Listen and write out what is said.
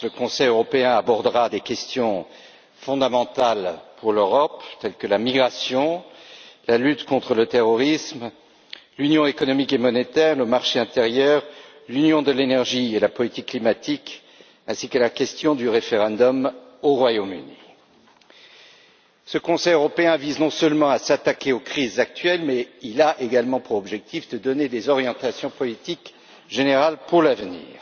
Le Conseil européen abordera des questions fondamentales pour l'Europe telles que la migration, la lutte contre le terrorisme, l'Union économique et monétaire, le marché intérieur, l'Union de l'énergie et la politique climatique ainsi que la question du référendum au Royaume Uni. Ce Conseil européen vise non seulement à s'attaquer aux crises actuelles, mais il a également pour objectif de donner des orientations politiques générales pour l'avenir.